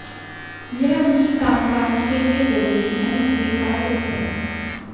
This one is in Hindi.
यह उनकी कामकाज के लिए जरूरी एवं स्वीकार्य भी है